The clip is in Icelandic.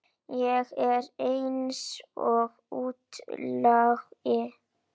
Ég er eins og útlagi.